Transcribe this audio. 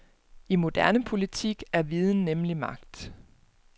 I moderne politik er viden nemlig magt.